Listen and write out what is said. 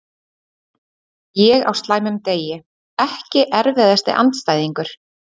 Ég á slæmum degi Ekki erfiðasti andstæðingur?